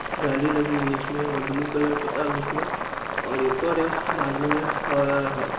जाली लगी है इसमें और ब्लू कलर पुता है उसमे और एक और है बाजु में और